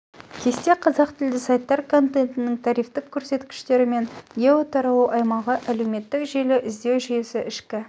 кесте қазақ тілді сайттар контентінің трафиктік көрсеткіштері мен гео таралу аймағы әлеуметтік желі іздеу жүйесі ішкі